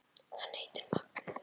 Hann heitir Magnús.